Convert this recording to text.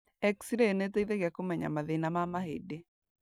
X-ray nĩĩteithagia kũmenya mathĩna ma mahĩndĩ